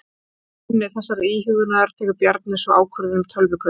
Á grunni þessarar íhugunar tekur Bjarni svo ákvörðun um tölvukaupin.